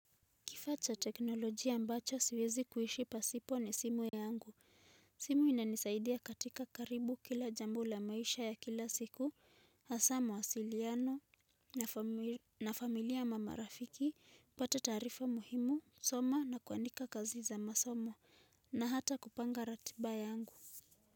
Kifaa cha teknolojia ambacho siwezi kuishi pasipo ni simu yangu. Simu inanisaidia katika karibu kila jambo la maisha ya kila siku, hasa mawasiliano na familia, marafiki, kupata tarifa muhimu, soma na kuandika kazi za masomo na hata kupanga ratiba yangu.